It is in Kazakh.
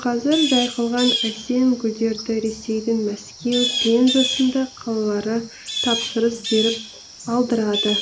қазір жайқалған әсем гүлдерді ресейдің мәскеу пенза сынды қалалары тапсырыс беріп алдырады